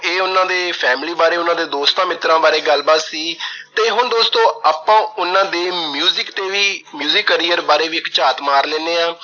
ਇਹ ਉਹਨਾਂ ਦੀ family ਬਾਰੇ, ਉਹਨਾਂ ਦੇ ਦੋਸਤਾਂ ਮਿੱਤਰਾਂ ਬਾਰੇ ਗੱਲਬਾਤ ਸੀ ਤੇ ਦੋਸਤੋ ਹੁਣ ਆਪਾ ਉਹਨਾਂ ਦੇ ਤੇ ਵੀ career ਬਾਰੇ ਵੀ ਇੱਕ ਝਾਤ ਮਾਰ ਲੈਂਦੇ ਆ।